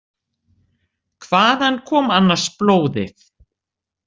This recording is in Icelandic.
Hvaðan kom annars blóðið?